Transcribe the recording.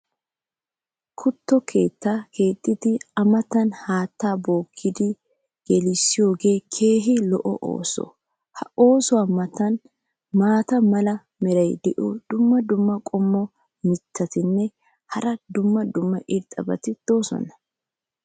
kuttuwa keettaa keexxidi a matan haattaa bpookidi gelisiyooge keehi lo'o ooso. ha oosuwa matan maata mala meray diyo dumma dumma qommo mitattinne hara dumma dumma irxxabati de'oosona.